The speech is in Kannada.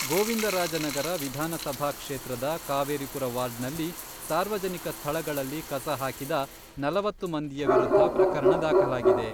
ಗೋವಿಂದರಾಜನಗರ ವಿಧಾನ ಸಭಾ ಕ್ಷೇತ್ರದ ಕಾವೇರಿಪುರ ವಾರ್ಡ್ನಲ್ಲಿ ಸಾರ್ವಜನಿಕ ಸ್ಥಳಗಳಲ್ಲಿ ಕಸ ಹಾಕಿದ ನಲವತ್ತು ಮಂದಿಯ ವಿರುದ್ಧ ಪ್ರಕರಣ ದಾಖಲಾಗಿದೆ.